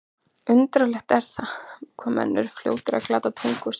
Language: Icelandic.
Undarlegt er það, hvað menn eru fljótir að glata tungu sinni.